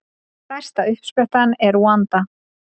Stærsta uppsprettan er í Rúanda.